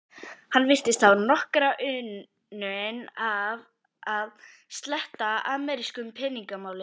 Hann virtist hafa nokkra unun af að sletta amerísku peningamáli.